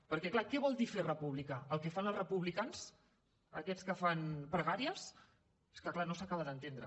perquè clar què vol dir fer república el que fan els republicans aquests que fan pregàries és que clar no s’acaba d’entendre